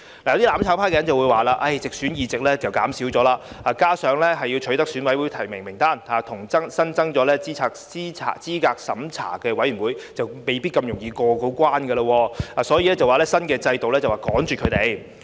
有"攬炒派"人士說，直選議席減少，加上要取得選委提名，以及增設候選人資格審查委員會，未必容易過關，所以斷言新的選舉制度是趕絕他們。